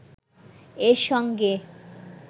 এর সঙ্গে